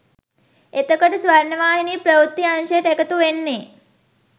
එතකොට ස්වර්ණවාහිනී ප්‍රවෘත්ති අංශයට එකතු වෙන්නේ?